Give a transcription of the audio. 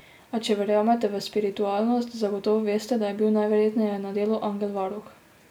A če verjamete v spiritualnost, zagotovo veste, da je bil najverjetneje na delu angel varuh.